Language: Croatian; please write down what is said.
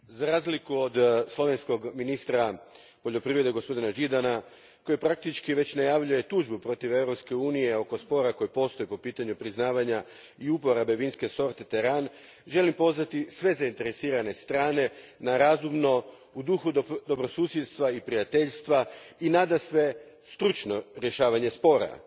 Gospodine predsjedniče, za razliku od slovenskog ministra poljoprivrede, gospodina Židana koji praktički već najavljuje tužbu protiv Europske unije oko spora koji postoji po pitanju priznavanja i uporabe vinske sorte teran, želim pozvati sve zainteresirane strane na razumno, u duhu dobrosusjedstva i prijateljstva, i nadasve stručno rješavanje spora.